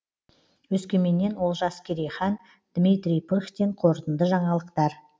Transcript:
өскеменнен олжас керейхан дмитрий пыхтин қорытынды жаңалықтар